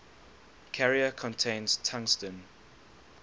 carrier contains tungsten